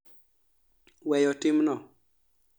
Weyo timno?